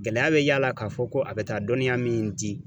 Gɛlɛya bɛ y'a la k'a fɔ ko a bɛ taa dɔnniya min di